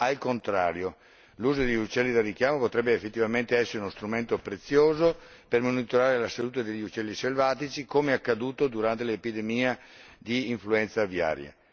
Al contrario, l'uso degli uccelli da richiamo potrebbe effettivamente essere uno strumento prezioso per monitorare la salute degli uccelli selvatici, come accaduto durante l'epidemia di influenza aviaria.